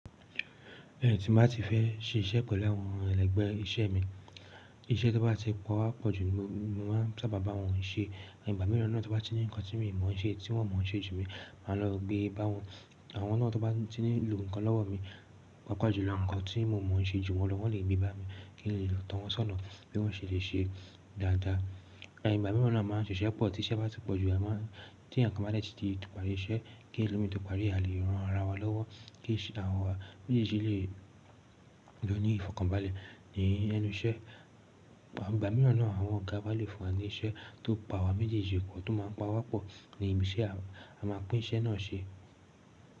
Bẹ́ẹ̀ni, tí bá tí fẹ́ ṣe iṣẹ́ pelu àwọn ẹlẹgbẹ́ iṣẹ́ mi, iṣẹ́ tó bá ti pa wá pọ̀jù ni mo máa sábà bá wọn ṣe. Ẹ̀yin ìgbà mìíràn náà tó bá tí ní nǹkan tí mo mọ̀ ṣe tí wọ́n mọ̀ ṣe jù mi, màá lọ gbé bá wọn. Àwọn náà tó bá tí ní lo nǹkan lọ́wọ́ mi, pàápàá jùlọ nǹkan tí mo mọ̀ ṣe jù wọ́n lọ, wọ́n lè gbé bá mi kí n lè tọ̀ wọ́n sọ́nà bí wọ́n ṣe lè ṣe dáadáa. Ẹ̀yin ìgbà mìíràn náà a máa ń ṣiṣẹ́ pọ̀ tí iṣẹ́ bá ti pọ̀jù, a máa ń tí ẹ̀yokan bá dẹ́ẹ̀ tí di ti parí iṣẹ́ kí ẹlòmíràn tó parí àlé ran ara wa lọ́wọ́ kí àwọn wa méjèèjì lè lọ ní ìfọ̀kànbalẹ̀ ni ẹnu iṣẹ́. Ìgbà mìíràn náà àwọn ọ̀gá wá lè fún wa ní iṣẹ́ tó pa awa méjèèjì pọ̀ tó máa ń pa wá pọ̀ ni ibi iṣẹ́ a máa pín iṣẹ́ náà ṣe.